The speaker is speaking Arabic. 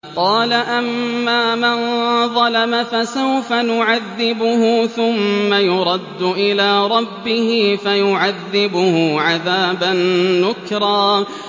قَالَ أَمَّا مَن ظَلَمَ فَسَوْفَ نُعَذِّبُهُ ثُمَّ يُرَدُّ إِلَىٰ رَبِّهِ فَيُعَذِّبُهُ عَذَابًا نُّكْرًا